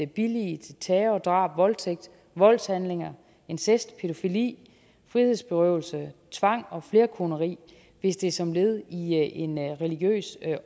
billige terror og drab voldtægt voldshandlinger incest pædofili frihedsberøvelse tvang og flerkoneri hvis det er som led i en religiøs